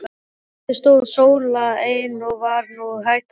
Eftir stóð Sóla ein og var nú hætt að brosa.